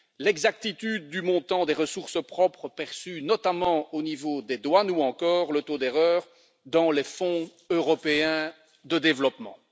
l'exactitude du montant des ressources propres perçu, notamment au niveau des douanes, ou encore le taux d'erreur dans les Fonds européens de développement.